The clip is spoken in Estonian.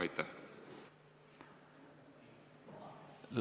Ei, aitäh!